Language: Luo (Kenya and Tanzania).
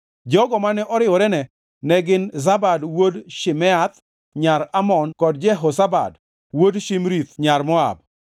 Jogo mane oriworene ne gin Zabad wuod Shimeath nyar Amon kod Jehozabad wuod Shimrith nyar Moab.